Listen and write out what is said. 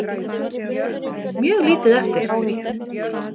Mjög lítið eftir.